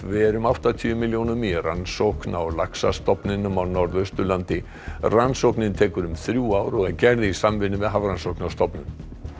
ver um áttatíu milljónum í rannsókn á laxastofninum á Norðausturlandi rannsóknin tekur um þrjú ár og er gerð í samvinnu við Hafrannsóknastofnun